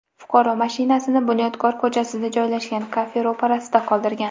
Fuqaro mashinasini Bunyodkor ko‘chasida joylashgan kafe ro‘parasida qoldirgan.